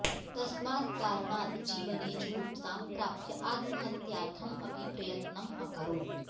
तस्मात् कारणात् जीवने जुगुप्सां प्राप्य आत्महत्यार्थम् अपि प्रयत्नम् अकरोत्